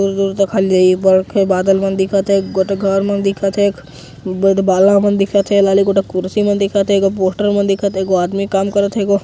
दूर तक खाली बादल वन दिखत हे गोट घर मन दिखत हे बद बाला मन दिखत हे लाली गोटा कुर्सी मन दिखत हे पोस्टर मन दिखत हे एगो आदमी काम करत हे गो --